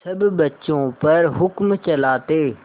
सब बच्चों पर हुक्म चलाते